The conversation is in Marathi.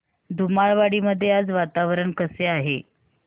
धुमाळवाडी मध्ये आज वातावरण कसे आहे